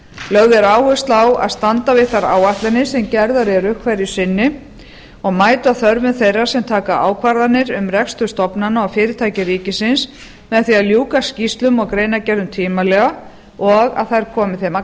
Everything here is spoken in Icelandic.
lögð er áhersla á að standa við þær áætlanir sem gerðar eru hverju sinni og mæta þörfum þeirra sem taka ákvarðanir um rekstur stofnana og fyrirtækja ríkisins með því að ljúka skýrslum og greinargerðum tímanlega og að þær komi þeim að